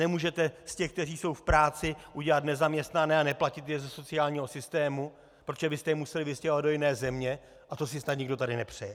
Nemůžete z těch, kteří jsou v práci, udělat nezaměstnané a neplatit je ze sociálního systému, protože byste je museli vystěhovat do jiné země a to si snad nikdo tady nepřeje.